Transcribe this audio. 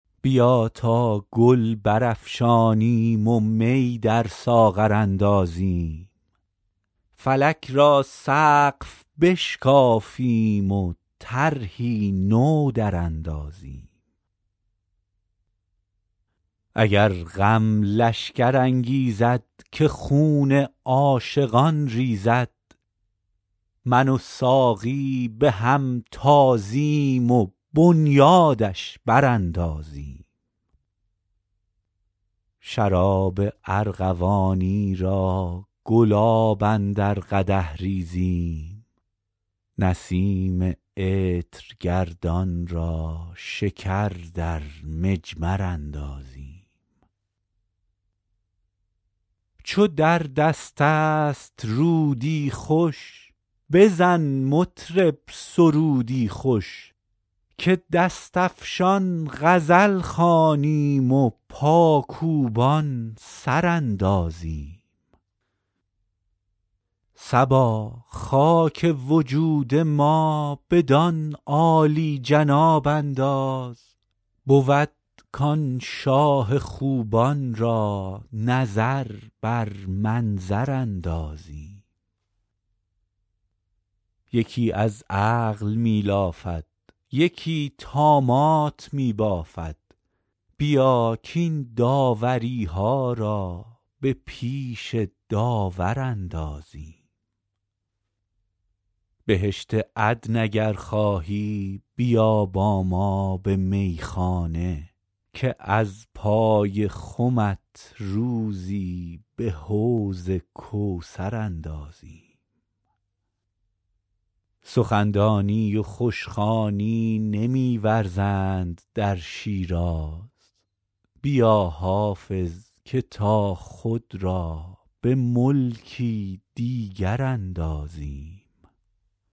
بیا تا گل برافشانیم و می در ساغر اندازیم فلک را سقف بشکافیم و طرحی نو دراندازیم اگر غم لشکر انگیزد که خون عاشقان ریزد من و ساقی به هم تازیم و بنیادش براندازیم شراب ارغوانی را گلاب اندر قدح ریزیم نسیم عطرگردان را شکر در مجمر اندازیم چو در دست است رودی خوش بزن مطرب سرودی خوش که دست افشان غزل خوانیم و پاکوبان سر اندازیم صبا خاک وجود ما بدان عالی جناب انداز بود کآن شاه خوبان را نظر بر منظر اندازیم یکی از عقل می لافد یکی طامات می بافد بیا کاین داوری ها را به پیش داور اندازیم بهشت عدن اگر خواهی بیا با ما به میخانه که از پای خمت روزی به حوض کوثر اندازیم سخن دانی و خوش خوانی نمی ورزند در شیراز بیا حافظ که تا خود را به ملکی دیگر اندازیم